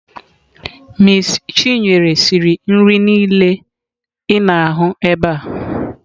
Miss chineye siri nri niile ị na-ahụ ebe a.